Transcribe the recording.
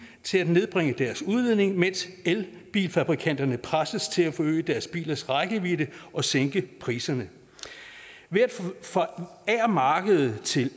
til at nedbringe deres udledning mens elbilfabrikanterne presses til at forøge deres bilers rækkevidde og sænke priserne ved at man forærer markedet til